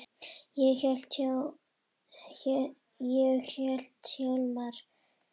Ég heiti Hjálmar